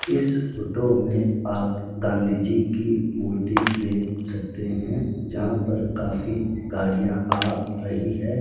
इस फोटो में आप गांधी जी की मूर्ति देख सकते हैं जहां पर काफी गाड़ियां आ रही हैं।